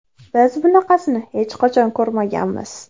Biz bunaqasini hech qachon ko‘rmaganmiz.